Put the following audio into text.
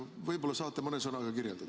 Võib-olla saate mõne sõnaga kirjeldada.